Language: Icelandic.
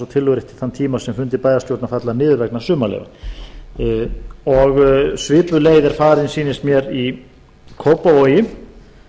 og tillögurétti þann tíma sem fundir bæjarstjórnar falla niður vegna sumarleyfa svipuð leið er farin sýnist mér í kópavogi